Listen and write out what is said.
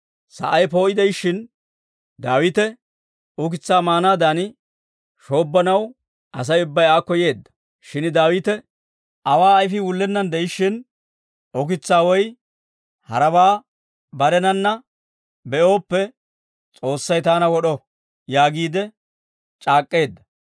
Sa'ay poo'o de'ishshin, Daawite ukitsaa maanaadan shoobbanaw Asay ubbay aakko yeedda; shin Daawite, «Awa ayfii wullennan de'ishshin, ukitsaa woy harabaa barenana be'ooppe, S'oossay taana wod'o» yaagiide c'aak'k'eedda.